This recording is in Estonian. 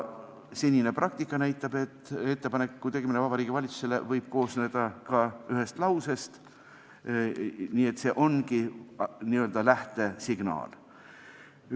Senine praktika näitab, et Vabariigi Valitsusele tehtav ettepanek võib koosneda ka ühest lausest, see ongi n-ö lähtesignaal.